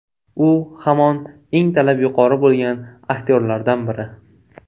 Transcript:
U hamon eng talab yuqori bo‘lgan aktyorlardan biri.